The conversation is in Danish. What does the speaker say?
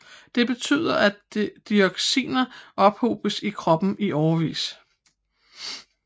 Det betyder at dioxinerne ophobes i kroppen i årevis